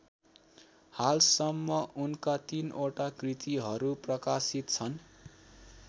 हालसम्म उनका ३ वटा कृतिहरू प्रकाशित छन्।